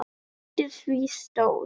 Undir því stóð